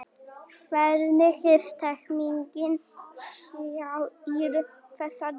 Hvernig er stemmningin hjá ÍR þessa dagana?